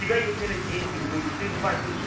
тебя есть наверно дети внуки ты звонишь